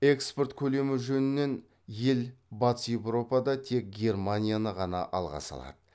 экспорт көлемі жөнінен ел батыс еуропада тек германияны ғана алға салады